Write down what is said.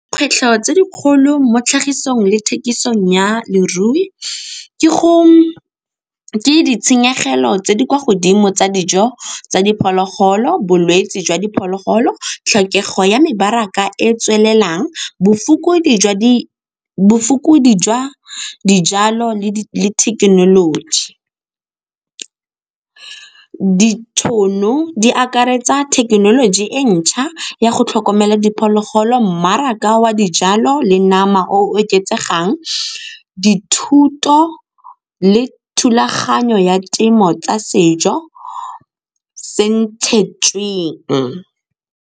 Kgwetlho tse di kgolo mo tlhagisong le thekisong ya lerui ke ditshenyegelo tse di kwa godimo tsa dijo tsa diphologolo, bolwetse jwa diphologolo, tlhokego ya mebaraka e tswelelang bofokodi jwa dijalo le thekenoloji. Ditšhono di akaretsa thekenoloji e ntšha ya go tlhokomela diphologolo, mmaraka wa dijalo le nama o oketsegang, dithuto le thulaganyo ya temo tsa sejo .